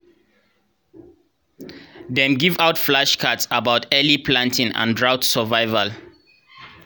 dem give out flashcards about early planting and drought survival